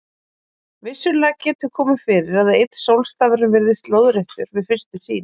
Vissulega getur komið fyrir að einn sólstafurinn virðist lóðréttur við fyrstu sýn.